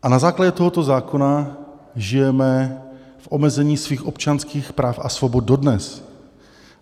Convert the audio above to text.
A na základě tohoto zákona žijeme v omezení svých občanských práv a svobod dodnes.